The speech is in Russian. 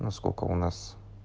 на сколько у нас